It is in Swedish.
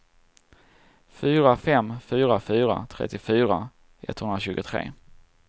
fyra fem fyra fyra trettiofyra etthundratjugotre